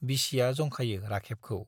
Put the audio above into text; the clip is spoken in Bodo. बिसिया जंखायो राखेबखौ।